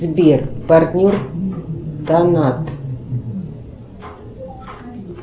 сбер партнер донат